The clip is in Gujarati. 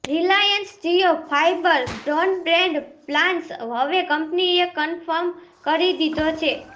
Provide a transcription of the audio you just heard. Reliance Jio fibre broadband plans હવે કંપનીએ કન્ફર્મ કરી દીધો છે